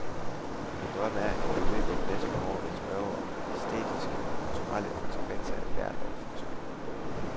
Min drøm er, at vi i løbet af de næste par år vil spørge om æstetiske og kulturelle konsekvenser af ethvert lovforslag.